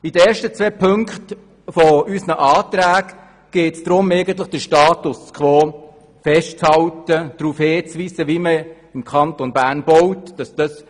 In den ersten beiden Auflagen unseres Antrags geht es darum, den Status quo festzuhalten und darauf hinzuweisen, wie man im Kanton Bern baut.